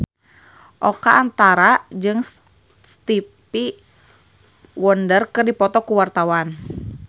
Oka Antara jeung Stevie Wonder keur dipoto ku wartawan